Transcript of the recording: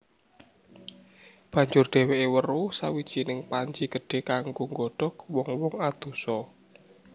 Banjur dhèwèké weruh sawijining panci gedhé kanggo nggodhog wong wong adosa